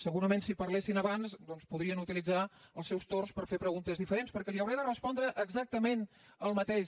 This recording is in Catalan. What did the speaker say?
segurament si parlessin abans doncs podrien utilitzar els seus torns per fer preguntes diferents perquè li hauré de respondre exactament el mateix